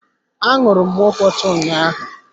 Anuru m nkwocha ụnyaahụ.